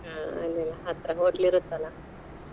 ಹಾ ಹತ್ರಾ hotel ಇರುತ್ತಲಾ.